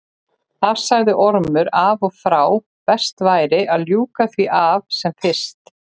Það sagði Ormur af og frá, best væri að ljúka því af sem fyrst.